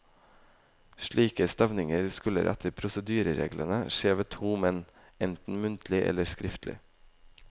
Slike stevninger skulle etter prosedyrereglene skje ved to menn, enten muntlig eller skriftlig.